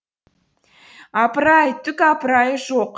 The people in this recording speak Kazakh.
апыр ай түк апырайы жоқ